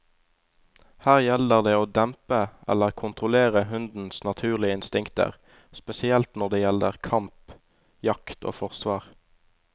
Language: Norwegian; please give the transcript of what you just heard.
Her gjelder det å dempe eller kontrollere hundens naturlige instinkter, spesielt når det gjelder kamp, jakt og forsvar.